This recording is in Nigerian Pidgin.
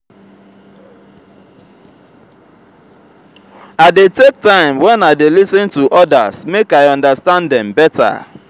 i dey take time wen i dey lis ten to odas make i understand dem better